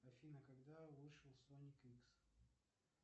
афина когда вышел соник икс